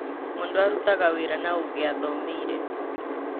Mũndũ arutaga wĩra na ũgĩ athomeire.